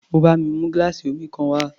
Ó bá mi mú gíláàsì omi kan wá.